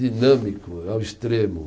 Dinâmico ao extremo.